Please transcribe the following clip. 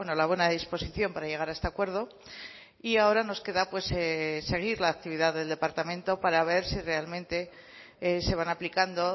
la buena disposición para llegar a este acuerdo y ahora nos queda seguir la actividad del departamento para ver si realmente se van aplicando